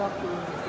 davam eləyir.